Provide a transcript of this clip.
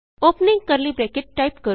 opening curly bracket type ਕਰੋ